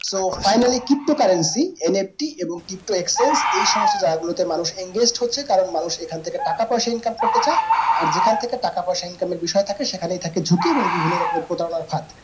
so finally crypto currencyNFT এবং crypto exchange এই সমস্ত জায়গা গুলোতে মানুষ engage হচ্ছে কারণ মানুষ এখন থেকে টাকা পিসা income করতেসে আর যেখান থেকে টাকাপয়সা income এর বিষয় থাকে সেখানেই থাকে ঝুঁকি এবং বিভিন্ন রকমের প্রতারণার ফাঁদ